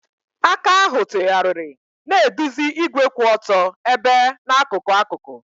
Aka ahụ tụgharịrị, na-eduzi igwe kwụ otu ebe n'akụkụ akụkụ.